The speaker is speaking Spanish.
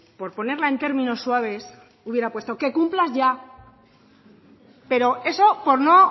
por ponerla en términos suaves hubiera puesto que cumplas ya pero eso por no